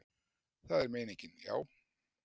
Það er meiningin, já.